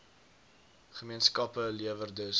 gemeenskappe lewer dus